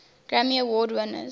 grammy award winners